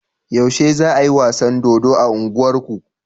Yaushe za ayi wasan dodo a unguwar ku?